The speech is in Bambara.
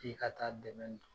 K'e ka taa dɛmɛ don.